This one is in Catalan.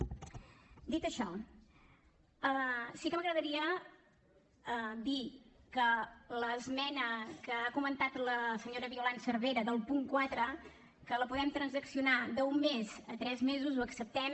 dit això sí que m’agradaria dir que l’esmena que ha comentat la senyora violant cervera del punt quatre que la podem transaccionar d’un mes a tres mesos l’acceptem